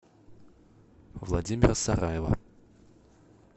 владимира сараева